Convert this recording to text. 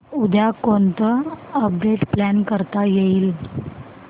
उद्या कोणतं update plan करता येईल